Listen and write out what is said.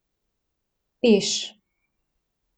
Peš.